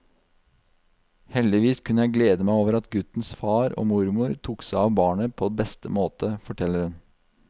Heldigvis kunne jeg glede meg over at guttens far og mormor tok seg av barnet på beste måte, forteller hun.